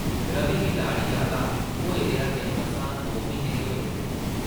रवि गी लाड़ी आह्ला होए दे अजें मसां दो म्हीने गै होए दे हे ।